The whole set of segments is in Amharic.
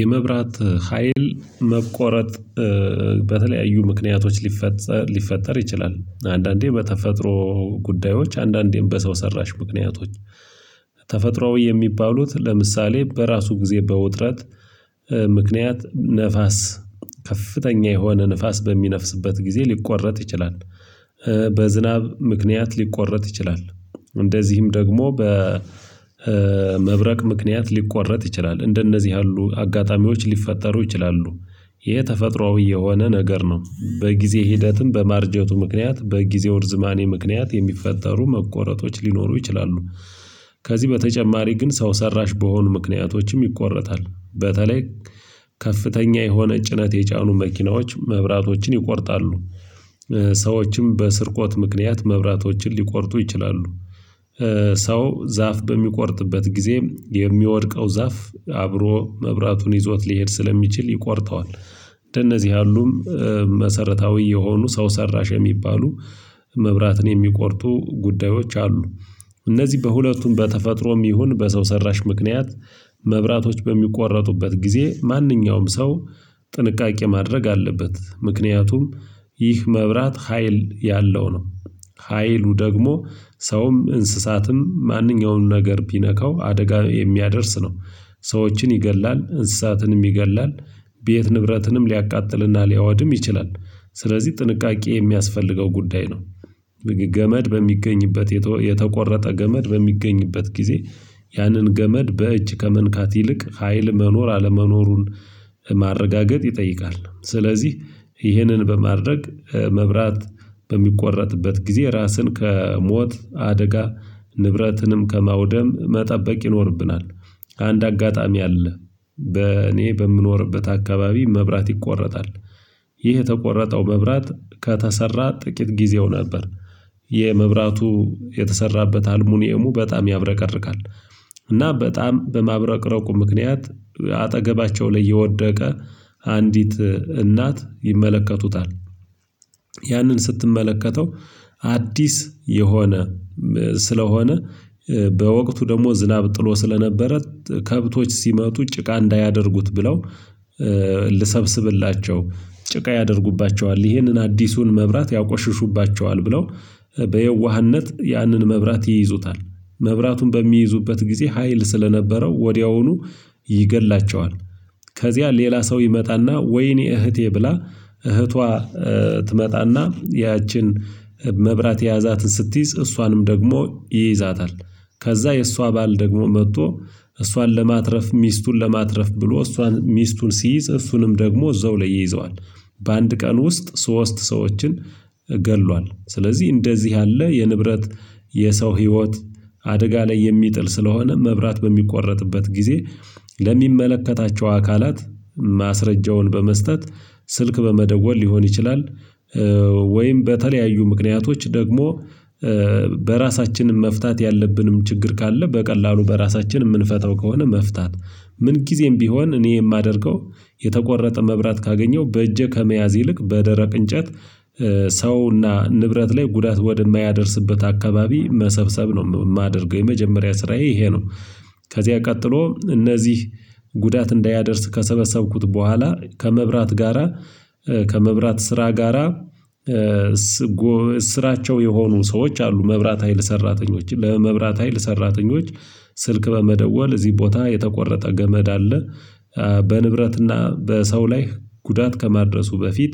የመብራት ሀይል መቆረጥ በተለያዩ ምክንያቶች ሊፈጸር ሊፈጠር ይችላል። አንዳንዴ በተፈጥሮ ጉዳዮች አንዳንዴም በሰው ሰራሽ ምክንያቶች ተፈጥሮአዊ የሚባሉት ለምሳሌ በራሱ ጊዜ በውጥረት ምክንያት ነፋስ ከፍተኛ የሆነ ንፋስ በሚነፍስበት ጊዜ ሊቆረጥ ይችላል። በዝናብ ምክንያት ሊቆረጥ ይችላል እንደዚሁም ደግሞ በመብረቅ ምክንያት ሊቆረጥ ይችላል እንደነዚህ ያሉ አጋጣሚዎች ሊፈጠሩ ይችላሉ። ይህ ተፈጥሮአዊ የሆነ ነገር ነው በጊዜ ሂደትም በማርጀቱ ምክንያት በጊዜው እርዝማኔ ምክንያት የሚፈጠሩ መቆረጦች ሊኖሩ ይችላሉ። ከዚህ በተጨማሪ ግን ሰው ሰራሽ በሆኑ ምክንያቶችም ይቆረጣል። በተለይ ከፍተኛ የሆነ ጭነት የጫኑ መኪናዎች መብራቶችን ይቆርጣሉ። ሰዎችም በስርቆት ምክንያት መብራቶችን ሊቆርጡ ይችላሉ። ሰው ዛፍ በሚቆርጥበት ጊዜ የሚወድቀው ዛፍ አብሮ መብራቱን ይዞት ሊሄድ ስለሚችል ይቆርጠዋል። እንደነዚህ ያሉም መሰረታዊ የሆኑ ሰው ሰራሽ የሚባሉ መብራትን የሚቆርጡ ጉዳዮች አሉ። እነዚህ በሁለቱም በተፈጥሮም ይሁን በሰው ሰራሽ ምክንያት መብራቶች በሚቆረጡበት ጊዜ ማንኛውም ሰው ጥንቃቄ ማድረግ አለበት። ምክንያቱም ይህ መብራት ሀይል ያለው ነው። ሀይሉ ደግሞ ሰውም እንስሳትም ማንኛውንም ነገር ቢነካው አደጋ የሚያደርስ ነው። ሰዎችን ይገድላል እንስሳትንም ይገድላል። ቤት ንብረትንም ሊያቃጥልና ሊያወድም ይችላል። ስለዚህ ጥንቃቄ የሚያስፈልገው ጉዳይ ነው። ገመድ በሚገኝበት የተቆረጠ ገመድ በሚገኝበት ጊዜ ያንን ገመድ በእጅ ከመንካት ይልቅ ሀይል መኖር አለመኖሩን ማረጋገጥ ይጠይቃል። ስለዚህ ይህንን በማድረግ መብራት በሚቆረጥበት ጊዜ ራስን ከሞት አደጋ ንብረትንም ከማውደም መጠበቅ ይኖርብናል። አንድ አጋጣሚ አለ። በእኔ በምኖርበት አካባቢ መብራት ይቆረጣል። ይህ የተቆረጠው መብራት ከተሰራ ጥቂት ጊዜው ነበር። የመብራቱ የተሰራበት አልሙኒየሙ በጣም ያብረቀርቃል። እና በጣም በማብረቅረቁ ምክንያት አጠገባቸው ላይ የወደቀ አንዲት እናት ይመለከቱታል። ያንን ስትመለከተው አዲስ የሆነ ስለሆነ በወቅቱ ደግሞ ዝናብ ጥሎ ስለነበረ ከብቶች ሲመጡ ጭቃ እንዳያደርጉት ብለው። ልሰብስብላቸው ጭቃ ያደርጉባቸዋል ይህንን አዲሱን መብራት ያቆሽሹባቸዋል ብለው በየዋህነት ያንን መብራት ይይዙታል መብራቱን በሚይዙበት ጊዜ ሀይል ስለነበረው ወዲያውኑ ይገድላቸዋል። ከዚያ ሌላ ሰው ይመጣና ወይኔ እህቴ ብላ እህቷ ትመጣና ያችን መብራት የያዛትን ስትይዝ እሷንም ደግሞ ይይዛታል። ከዛ የእሷ ባል ደግሞ መጥቶ እሷን ለማትረፍ ሚስቱን ለማትረፍ ብሎ እሷን ሚስቱን ሲይዝ እሱንም ደግሞ እዛው ላይ ይይዘዋል። በአንድ ቀን ውስጥ ሶስት ሰዎችን ገድሏል። ስለዚህ እንደዚህ ያለ የንብረት የሰው ህይወት አደጋ ላይ የሚጥል ስለሆነ መብራት በሚቆረጥበት ጊዜ ለሚመለከታቸው አካላት ማስረጃውን በመስጠት ስልክ በመደወል ሊሆን ይችላል። ወይም በተለያዩ ምክንያቶች ደግሞ በራሳችንም መፍታት ያለብንም ችግር ካለ በቀላሉ በራሳችንም የምንፈታው ከሆነ መፍታት ምን ጊዜም ቢሆን እኔ የማደርገው የተቆረጠ መብራት ካገኘው በእጄ ከመያዝ ይልቅ በደረቅ እንጨት ሰውና ንብረት ላይ ጉዳት ወደማያደርስበት አካባቢ መሰብሰብ ነው የማደርገው የመጀመሪያ ስራዬ ይሄ ነው። ከዚያ ቀጥሎ እነዚህ ጉዳት እንዳያደርስ ከሰበሰብኩት በኋላ ከመብራት ጋራ ከመብራት ስራ ጋራ። ስራቸው የሆኑ ሰዎች አሉ መብራት ሀይል ሰራተኞችን ለመብራት ሀይል ሰራተኞች ስልክ በመደወል እዚህ ቦታ የተቆረጠ ገመድ አለ። በንብረትና በሰው ላይ ጉዳት ከመድረሱ በፊት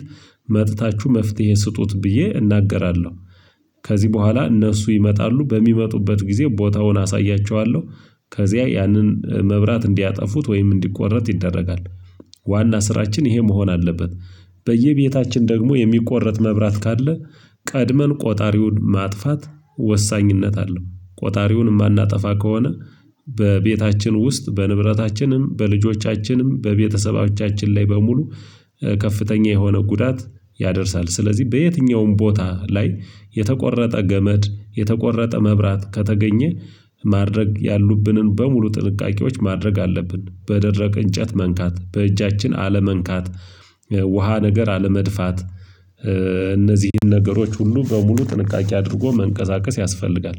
መጥታችሁ መፍትሄ ስጡት ብዬ እናገራለሁ። ከዚህ በኋላ እነሱ ይመጣሉ በሚመጡበት ጊዜ ቦታውን አሳያቸዋለሁ። ከዚያ ያንን መብራት እንዲያጠፉት ወይም እንዲቆረጥ ይደረጋል። ዋና ስራችን ይሄ መሆን አለበት። በየቤታችን ደግሞ የሚቆረጥ መብራት ካለ ቀድመን ቆጣሪውን ማጥፋት ወሳኝነት አለው። ቆጣሪውን የማናጠፋ ከሆነ በቤታችን ውስጥ በንብረታችንም በልጆቻችንም በቤተሰቦቻችን ላይ በሙሉ ከፍተኛ የሆነ ጉዳት ያደርሳል። ስለዚህ በየትኛውም ቦታ ላይ የተቆረጠ ገመድ የተቆረጠ መብራት ከተገኘ ማድረግ ያሉብንን በሙሉ ጥንቃቄዎች ማድረግ አለብን። በደረቅ እንጨት መንካት በእጃችን አለመንካት ውሃ ነገር አለመድፋት። እነዚህን ነገሮች ሁሉ በሙሉ ጥንቃቄ አድርጎ መንቀሳቀስ ያስፈልጋል።